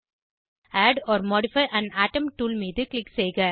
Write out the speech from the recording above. add or modify an atom tool மீது click செய்க